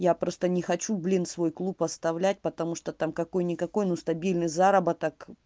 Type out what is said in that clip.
я просто не хочу блин свой клуб оставлять потому что там какой-никакой но стабильный заработок